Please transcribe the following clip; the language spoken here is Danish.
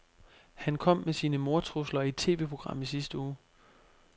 Han kom med sine mordtrusler i et TVprogram i sidste uge.